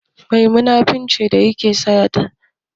Me munafurci yake haddasawa a cikin al'umma?